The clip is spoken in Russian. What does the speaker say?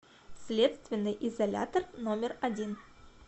следственный изолятор номер один